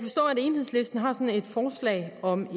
enhedslisten har et forslag om en